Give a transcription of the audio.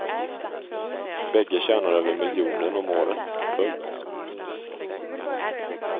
Bägge tjänar över miljonen om året. punkt